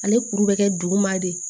Ale kuru bɛ kɛ duguma de